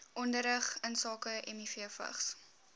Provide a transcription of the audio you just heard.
onderrig insake mivvigs